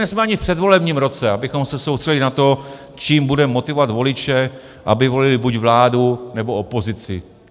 Nejsme ani v předvolebním roce, abychom se soustředili na to, čím budeme motivovat voliče, aby volili buď vládu, nebo opozici.